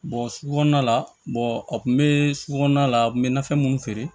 sugu kɔnɔna la a tun be su kɔnɔna la a kun be na fɛn mun feere